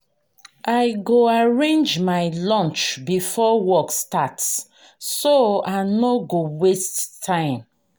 i go arrange my lunch before work start so i no go waste time.